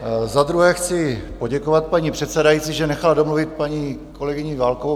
Za druhé chci poděkovat paní předsedající, že nechala domluvit paní kolegyni Válkovou.